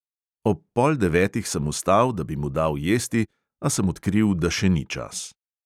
Ob pol devetih sem vstal, da bi mu dal jesti, a sem odkril, da še ni čas.